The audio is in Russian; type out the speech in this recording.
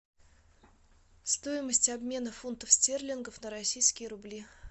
стоимость обмена фунтов стерлингов на российские рубли